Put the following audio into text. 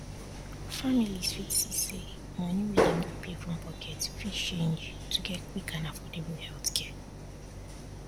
families fit see say money wey dem go pay from pocket fit change to get quick and affordable healthcare